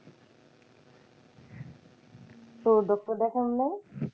ও doctor দেখান নাই?